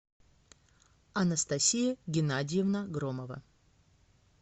анастасия геннадиевна громова